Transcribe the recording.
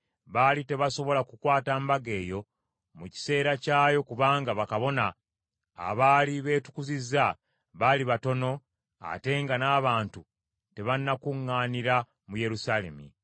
baali tebasobola kukwata mbaga eyo mu kiseera kyayo kubanga bakabona abaali beetukuzizza, baali batono ate nga n’abantu tebanakuŋŋaanira mu Yerusaalemi.